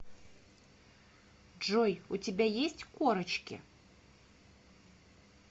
джой у тебя есть корочки